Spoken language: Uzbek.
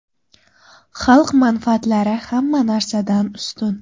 Xalq manfaatlari hamma narsadan ustun!